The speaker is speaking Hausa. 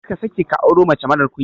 Karka sake ka auro mace marar ƙunya.